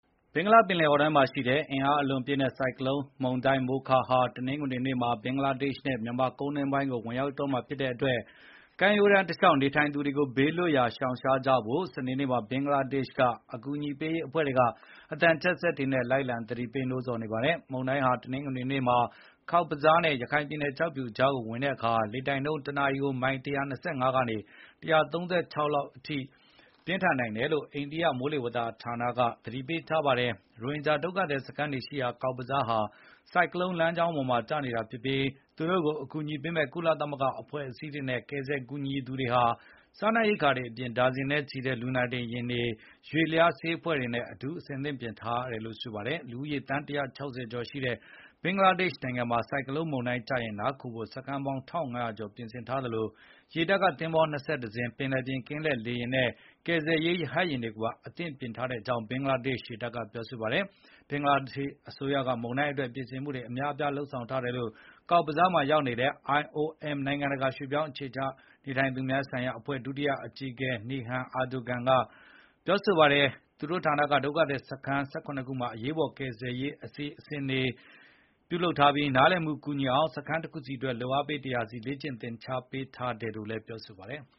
ဘင်္ဂလားပင်လယ်အော်ထဲမှာရှိနေတဲ့ အင်အားအလွန်ပြင်းထန်တဲ့ ဆိုင်ကလုန်းမုန်တိုင်းမိုခါဟာ တနင်္ဂနွေနေ့မှာ ဘင်္ဂလားဒေ့ရှ်နဲ့ မြန်မာကုန်းတွင်းပိုင်းကို ဝင်ရောက်တော့မှာဖြစ်တဲ့အတွက် ကမ်းရိုးတန်းတလျှောက်နေထိုင်သူတွေကို ဘေးလွတ်ရာပုန်းခိုကြဖို့ စနေနေ့မှာ ဘင်္ဂလားဒေ့ရှ်မှာ အကူညီပေးရေးအဖွဲ့တွေက အသံချဲ့စက်တွေနဲ့ လိုက်လံ သတိပေးနေပါတယ်။ မုန်တိုင်းက တနင်္ဂနွေနေ့မှာ ဘင်္ဂလားဒေ့ရှ်က Cox’s Bazar နဲ့ ရခိုင်ပြည်နယ် ကျောက်ဖြူမြို့နယ်ကြားကိုဝင်တဲ့အခါ လေတိုက်နှုန်း တနာရီ မိုင် ၁၂၅ ကနေ ၁၃၆ မိုင်လောက်အထိ ပြင်းထန်နိုင်တယ်လို့ အိန္ဒိယ မိုးလေဝသဌာန IMD က သတိပေးထားပါတယ်။ ရိုဟင်ဂျာဒုက္ခသည် စခန်းတွေရှိရာ Cox’s Bazar ဟာ ဆိုင်ကလုန်းလမ်းကြောင်းပေါ်ကျနေတာဖြစ်ပြီး သူတို့ကို အကူအညီပေးမယ့် ကုလအဖွဲ့အစည်းတွေနဲ့ ကယ်ဆယ်ကူညီသူတွေဟာ စားနပ်ရိက္ခာတွေအပြင် ဒါဇင်နဲ့ချီတဲ့ လူနာတင်ယာဉ်တွေကို ရွေ့လျားဆေးအဖွဲ့တွေနဲ့အတူ အသင့်ပြင်ထားတာပါ။ လူဦးရေ သန်း ၁၆၀ ကျော်ရှိတဲ့ ဘင်္ဂလားဒေ့ရှ်နိုင်ငံမှာ ဆိုင်ကလုန်းမုန်တိုင်းကျရင် နားခိုဖို့စခန်းပေါင်း ၁,၅၀၀ ကျော်ပြင်ထားသလို ရေတပ်က သင်္ဘော ၂၁ စင်း၊ ပင်လယ်ပြင်ကင်းလှည့်လေယာဉ်နဲ့ ကယ်ဆယ်ရေး ရဟတ်ယာဉ်တွေကိုပါ အသင့်ပြင်ထားကြောင်း ဘင်္ဂလားဒေ့ရှ် ရေတပ်က ပြောပါတယ်။ ဘင်္ဂလားဒေ့ရှိအစိုးရက မုန်တိုင်းအတွက် ပြင်ဆင်မှုတွေအများအပြား လုပ်ဆောင်ထားတယ်လို့ Cox’s Bazar မှာရောက်နေတဲ့ IOM နိုင်ငံတကာရွှေ့ပြောင်းအခြေချသူများဆိုင်ရာ အဖွဲ့ ဒုတိယအကြီးအကဲ Nihan Erdogan က ပြောပါတယ်။ သူတို့ဌာနက ဒုက္ခသည်စခန်း ၁၇ ခုမှာ အရေးပေါ်ကယ်ဆယ်ရေးလုပ်ငန်းအတွက် နားလည်ပြီး ကူညီနိုင်အောင် စခန်းတခုစီအတွက် လုပ်အားပေး ၁၀၀ စီ လေ့ကျင့်သင်ကြား ပေးထားတယ်လို့ ပြောပါတယ်။